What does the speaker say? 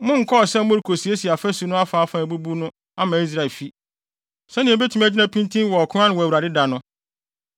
Monkɔɔ sɛ morekosiesie afasu no afaafa a abubu no ama Israelfi, sɛnea ebetumi agyina pintinn wɔ ɔko no ano wɔ Awurade da no.’